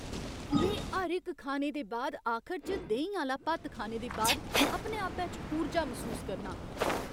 में हर इक खाने दे आखर च देहीं आह्‌ला भत्त खाने दे बाद अपने आपै च ऊर्जा मसूस करना आं।